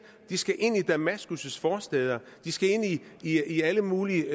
de skal ind i damaskus forstæder de skal ind i alle mulige